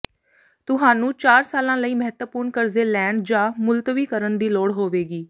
ਤੁਹਾਨੂੰ ਚਾਰ ਸਾਲਾਂ ਲਈ ਮਹੱਤਵਪੂਰਨ ਕਰਜ਼ੇ ਲੈਣ ਜਾਂ ਮੁਲਤਵੀ ਕਰਨ ਦੀ ਲੋੜ ਹੋਵੇਗੀ